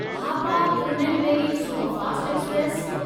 Hapa Tirunelveli superfast express